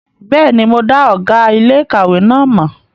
Bẹ́ẹ̀ni, mo dá ọ̀gá iléèkàwé náà mọ̀